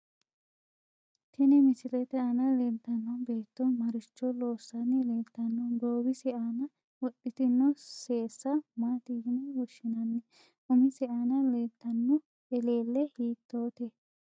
Tini misilete aana leeltanno beeto maricho loosani leeltanno goowise aana wodhitino seesa maati yine woshinanni umise aana leeltanno eleelle hiitoote